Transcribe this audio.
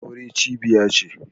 Aure cibiya ce.